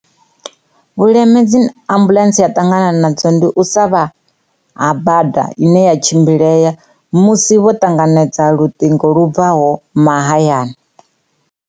Vhuleme dzi ambuḽentse ya ṱangana nadzo ndi u sa vha ha bada ine ya tshimbilea musi vho ṱanganedza luṱingo lumbaho mahayani.